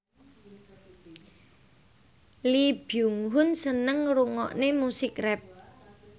Lee Byung Hun seneng ngrungokne musik rap